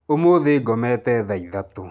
Ũmũthĩ ngomete thaa ithatũ.